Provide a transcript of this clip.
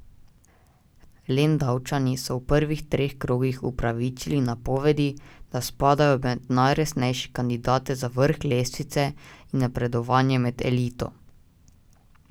Lendavčani so v prvih treh krogih upravičili napovedi, da spadajo med najresnejše kandidate za vrh lestvice in napredovanje med elito.